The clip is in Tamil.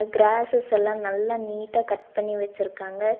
கிராஸ்சஸ் எல்லா நல்லா நீட்டா கட் பண்ணி வச்சுருக்காங்க.